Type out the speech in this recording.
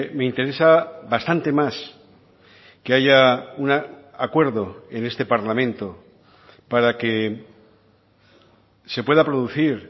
me interesa bastante más que haya un acuerdo en este parlamento para que se pueda producir